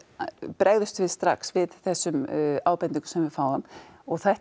bregðumst við strax við þessum ábendingum sem við fáum og þetta